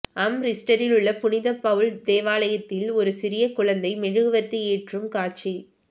அம்ரிஸ்டரில் உள்ள புனித பவுல் தேவாலயத்தில் ஒரு சிறிய குழந்தை மெழுகுவர்த்தி ஏற்றும் காட்சி